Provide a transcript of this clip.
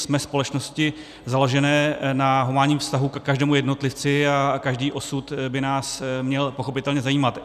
Jsme společnosti založené na humánním vztahu ke každému jednotlivci a každý osud by nás měl pochopitelně zajímat.